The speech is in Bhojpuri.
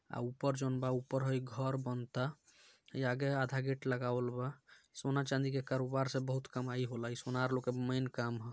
ऊपर जोनब ऊपर हई घर बनता | इ आगे आधा गेट लगावल बा सोना चांदी के कारोबार से बहुत कमाई हो ला यह सुनर लोंका के मेन काम है ।